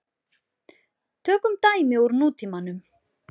Tökum dæmi úr nútímanum.